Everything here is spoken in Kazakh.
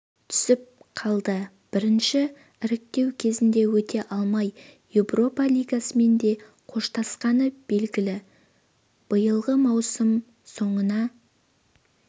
түсіп қалды бірінші іріктеу кезеңінен өте алмай европа лигасымен де қоштасқаны беліглі биылғы маусым соңына